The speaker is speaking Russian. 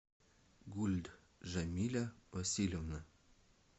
гульд жамиля васильевна